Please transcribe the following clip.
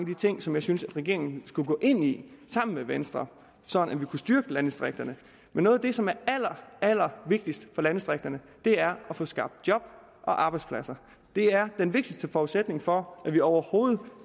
de ting som jeg synes at regeringen skal gå ind i sammen med venstre sådan at vi kan styrke landdistrikterne men noget af det som er allerallervigtigst for landdistrikterne er at få skabt job og arbejdspladser det er den vigtigste forudsætning for at vi overhovedet